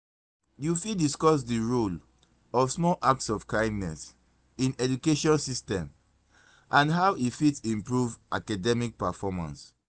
you fit discuss di role of small acts of kindness in education system and how e fit improve academic performance.